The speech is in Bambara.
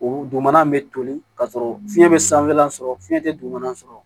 O dugumana in bɛ toli ka sɔrɔ fiɲɛ bɛ sanfɛlan sɔrɔ fiɲɛ tɛ dugumana sɔrɔ